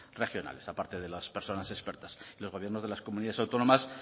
regionales aparte de las personas expertas los gobiernos de las comunidades autónomas